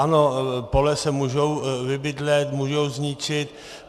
Ano, pole se můžou vybydlet, můžou zničit.